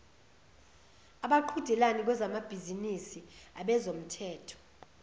abaqhudelani kwezamabhizinisi abezomthetho